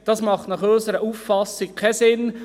Dies macht aus unserer Sicht keinen Sinn.